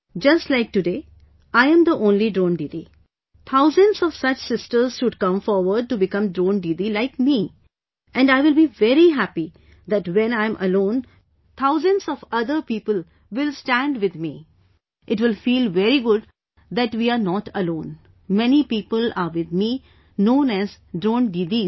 Just like today I am the only Drone Didi, thousands of such sisters should come forward to become Drone Didi like me and I will be very happy that when I am alone, thousands of other people will stand with me... it will feel very good that we're not alone... many people are with me known as Drone Didis